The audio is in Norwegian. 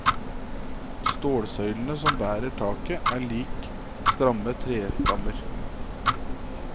Stålsøylene som bærer taket er lik stramme trestammer.